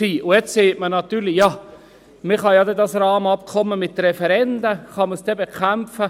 Jetzt sagt man natürlich: «Man kann das Rahmenabkommen ja mit Referenden bekämpfen.